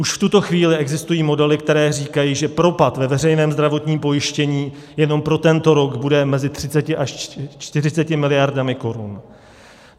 Už v tuto chvíli existují modely, které říkají, že propad ve veřejném zdravotním pojištění jenom pro tento rok bude mezi 30 až 40 miliardami korun.